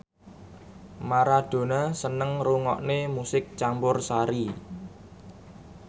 Maradona seneng ngrungokne musik campursari